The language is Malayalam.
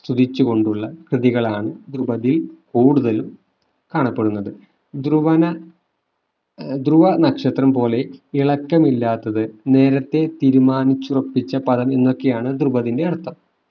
സ്തുതിച്ചുകൊണ്ടുള്ള കൃതികളാണ് ദ്രുപതിൽ കൂടുതലും കാണപ്പെടുന്നത് ധ്രുവന ആഹ് ധ്രുവനക്ഷത്രം പോലെ തിളക്കമില്ലാത്തത് നേരത്തെ തീരുമാനിച്ചുറപ്പിച്ച പദം എന്നൊക്കെയാണ് ദ്രുപത്തിന്റെ അർത്ഥം